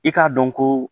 I k'a dɔn ko